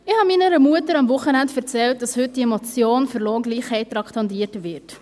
Ich erzählte meiner Mutter am Wochenende, dass heute diese Motion für Lohngleichheit traktandiert wird.